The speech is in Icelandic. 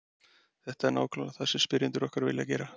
Þetta er nákvæmlega það sem spyrjendur okkar vilja gera.